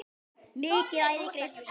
Mikið æði greip um sig.